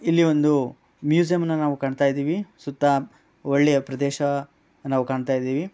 ಇಲ್ಲಿ ಒಂದು ನಾವು ಮ್ಯೂಸಿಯಂ ಅನ್ನ ನಾವು ಕಾಣ್ತಾ ಇದ್ದಿವಿ. ಸುತ್ತ ಒಳ್ಳೆಯ ಪ್ರದೇಶ ನಾವು ಕಾಣುತ್ತಿದ್ದೇವೆ.